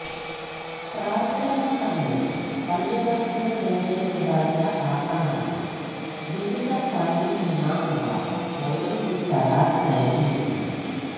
പ്രാർത്ഥനാ സമയത്ത് പള്ളികൾക്ക് നേരെയുണ്ടായ ആക്രമണത്തിൽ വിവിധ പള്ളി ഇമാമുമാർ പോലീസിൽ പരാതി നൽകിയിരുന്നു